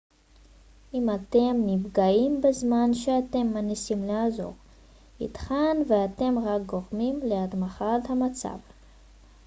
אם אתם נפגעים בזמן שאתם מנסים לעזור ייתכן ואתם רק גורמים להחמרת המצב